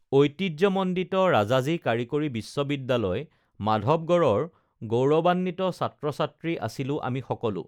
ঐতিহ্যমণ্ডিত ৰাজাজী কাৰিকৰী বিশ্ববিদ্যালয় মাধৱগঢ়ৰ গৌৰৱান্বিত ছাত্ৰছাত্ৰী আছিলো আমি সকলো